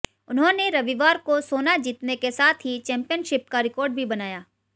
उन्होंने रविवार को सोना जीतने के साथ ही चैम्पियनशिप का रिकॉर्ड भी बनाया